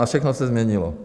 A všechno se změnilo.